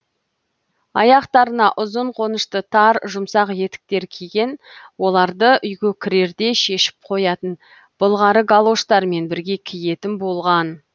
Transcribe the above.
аяқтарына ұзын қонышты тар жұмсақ етіктер киген оларды үйге кірерде шешіп қоятын былғары галоштармен бірге киетін болған